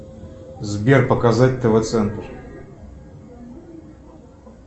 сбер показать тв центр